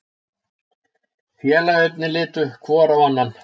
Félagarnir litu hvor á annan.